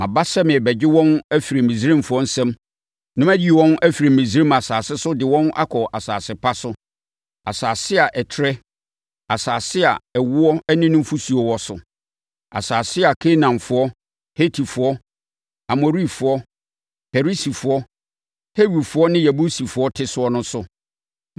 Maba sɛ merebɛgye wɔn afiri Misraimfoɔ nsam na mayi wɔn afiri Misraim asase so de wɔn akɔ asase pa so—asase a ɛtrɛ; asase a ɛwoɔ ne nufosuo wɔ so—asase a Kanaanfoɔ, Hetifoɔ, Amorifoɔ, Perisifoɔ, Hewifoɔ ne Yebusifoɔ te soɔ no so.